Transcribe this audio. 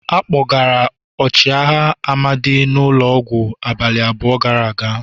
A kpọgara ọchịagha Amadi n'ulo ọgwụ abalị abụọ gara aga.